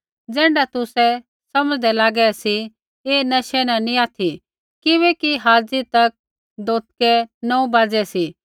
ज़ैण्ढा तुसै समझ़दै लागै सी ऐ नशै न नी ऑथि किबैकि हाज़ी तक दोथकै नौऊ बाज़ै सी